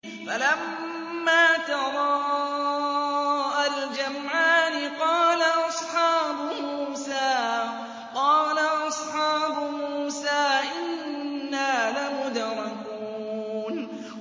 فَلَمَّا تَرَاءَى الْجَمْعَانِ قَالَ أَصْحَابُ مُوسَىٰ إِنَّا لَمُدْرَكُونَ